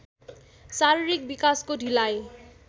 शारीरिक विकासको ढिलाइ